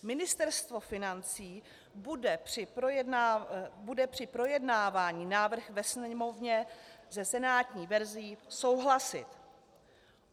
Ministerstvo financí bude při projednávání návrhu ve Sněmovně se senátní verzí souhlasit.